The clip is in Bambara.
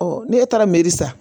ne e taara meri sa